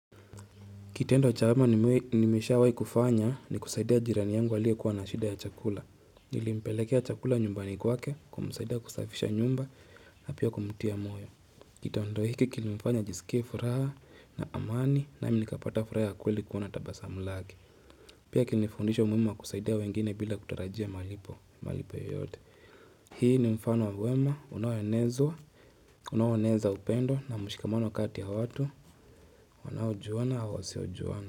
Kitendo cha wema nimeshawahi kufanya ni kusaidia jirani yangu aliyekuwa na shida ya chakula. Nilimpelekea chakula nyumbani kwake kumsaidia kusafisha nyumba na pia kumtia moyo. Kitendo hiki kilimfanya ajisikie furaha na amani nami nikapata furaha ya kweli kuona tabasamu lake. Pia kilinifundisha umuhimu wa kusaidia wengine bila kutarajia malipo yoyote. Hii ni mfano wa wema, unaoenezwa, unaoeneza upendo na mshikamano kati ya watu, wanaojuana au wasiojuana.